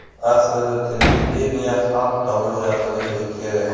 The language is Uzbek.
Aslida televideniyeni xalq tomosha qilish kerak.